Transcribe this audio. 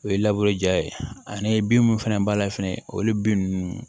O ye labure ja ye ani bin mun fɛnɛ b'a la fɛnɛ olu bin ninnu